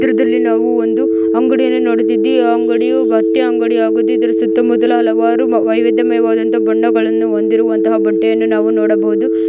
ಚಿತ್ರದಲ್ಲಿ ನಾವು ಒಂದು ಅಂಗಡಿಯನ್ನು ನೋಡುತಿದ್ದೇವೆ ಆ ಅಂಗಡಿಯು ಬಟ್ಟೆ ಅಂಗಡಿ ಆಗೋದಿದ್ದಾರೆ ಸುತ್ತ ಮುತ್ತಲು ಹಲವಾರು ವೈವಿದ್ಯ ಮೇವವದಂತ ಬಣ್ಣಗಳನ್ನು ಹೊಂದಿರುವಂತಹ ಬಟ್ಟೆಯನ್ನು ನಾವು ನೋಡಬಹುದು.